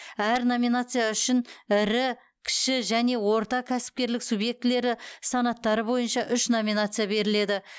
әр номинация үшін ірі кіші және орта кәсіпкерлік субъектілері санаттары бойынша үш номинация беріледі